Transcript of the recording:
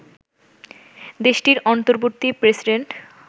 দেশটির অন্তর্বর্তী প্রেসিডেন্ট